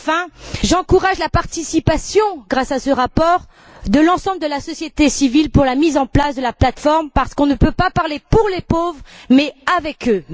Enfin, j'encourage la participation, grâce à ce rapport, de l'ensemble de la société civile à la mise en place de la plateforme parce qu'on ne peut pas parler pour les pauvres mais avec eux.